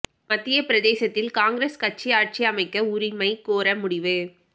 மத்திய பிரதேசத்தில் காங்கிரஸ் கட்சி ஆட்சி அமைக்க உரிமை கோர முடிவு